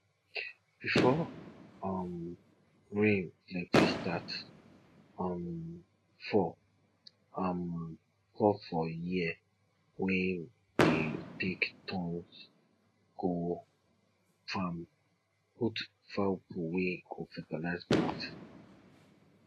before um rain plenty start um fall um fall for year we dey take turns go farm put fowl poo wey go fertize plants